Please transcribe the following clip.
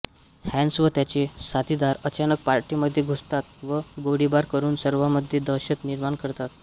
hence व त्याचे साथिदार अचानक पार्टीमध्ये घुसतात व गोळीबार करून सर्वामध्ये दहशत निर्माण करतात